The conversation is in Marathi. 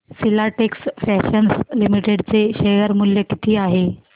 फिलाटेक्स फॅशन्स लिमिटेड चे शेअर मूल्य किती आहे